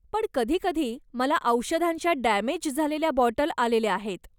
पण कधीकधी मला औषधांच्या डॅमेज झालेल्या बॉटल आलेल्या आहेत.